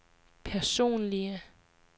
personlige